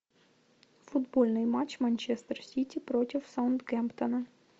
футбольный матч манчестер сити против саутгемптона